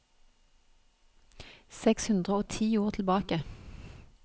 Seks hundre og ti ord tilbake